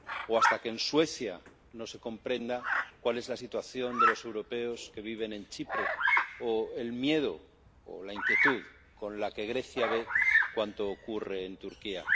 O hasta que en Suecia no se comprenda cuál es la situación de los europeos que viven en Chipre, o el miedo, o la inquietud con la que Grecia ve cuanto ocurre en Turquía.